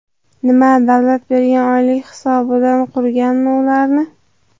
Nima, davlat bergan oylik hisobidan qurganmi ularni?..